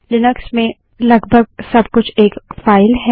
Linux में लगभग सब कुछ एक फाइल है